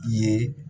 I ye